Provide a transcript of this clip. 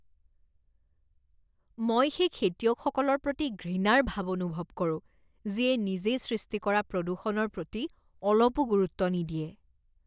মই সেই খেতিয়কসকলৰ প্ৰতি ঘৃণাৰ ভাৱ অনুভৱ কৰোঁ যিয়ে নিজে সৃষ্টি কৰা প্ৰদূষণৰ প্ৰতি অলপো গুৰুত্ব নিদিয়ে।